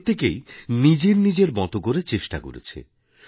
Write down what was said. প্রত্যেকেই নিজের নিজের মত করে চেষ্টা করেছে